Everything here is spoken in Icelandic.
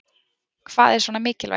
Hvað er svona mikilvægt